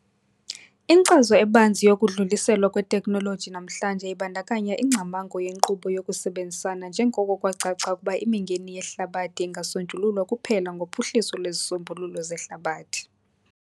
Inkcazo ebanzi yokudluliselwa kweteknoloji namhlanje ibandakanya ingcamango yenkqubo yokusebenzisana njengoko kwacaca ukuba imingeni yehlabathi ingasonjululwa kuphela ngophuhliso lwezisombululo zehlabathi.